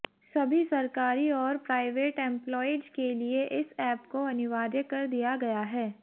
सभी सरकारी और प्राइवेट एंप्लॉयीज के लिए इस ऐप को अनिवार्य कर दिया गया है